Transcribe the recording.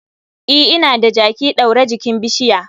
E, ina da jaki ɗaure jikin bishiya.